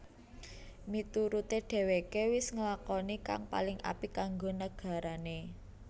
Miturute dheweke wis nglakoni kang paling apik kanggo nagarane